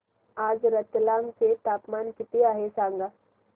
आज रतलाम चे तापमान किती आहे सांगा